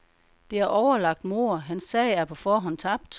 Det er overlagt mord, hans sag er på forhånd tabt.